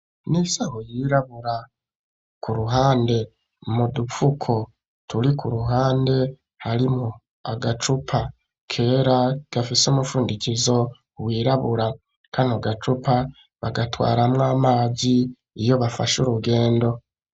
N'isaho yirabura ku ruhande mu dupfuko turi ku ruhande harimwo agacupa kera gafise umufundikizo wirabura kano gacupa bagatwaramwo amazi iyo bafashe urugendo